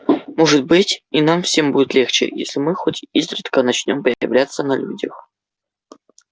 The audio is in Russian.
может быть и нам всем будет легче если мы хоть изредка начнём появляться на людях